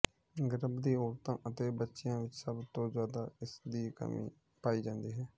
ਗਰਭਵਤੀ ਔਰਤਾਂ ਅਤੇ ਬੱਚਿਆ ਵਿੱਚ ਸਭ ਤੋਂ ਜਿਆਦਾ ਇਸ ਦੀ ਕਮੀ ਪਾਈ ਜਾਂਦੀ ਹੈ